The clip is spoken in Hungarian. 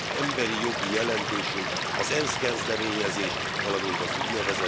Emberi jogi jelentésünk az ENSZ kezdeményezés, valamint az ún.